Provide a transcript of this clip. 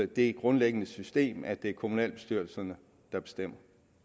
det grundlæggende system at det er kommunalbestyrelserne der bestemmer